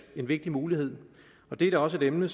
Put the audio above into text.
en vigtig mulighed og det er da også et emne